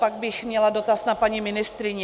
Pak bych měla dotaz na paní ministryni.